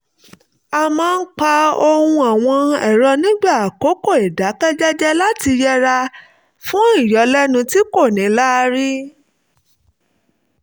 a máa ń pa ohùn àwọn ẹ̀rọ nígbà àkókò ìdákẹ́ jẹ́jẹ́ láti yẹra fún ìyọlẹ́nu tí kò níláárí